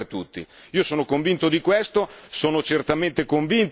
Sono certamente convinto che ci sia la necessità di fare dei passi avanti.